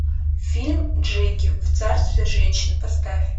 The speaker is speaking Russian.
фильм джеки в царстве женщин поставь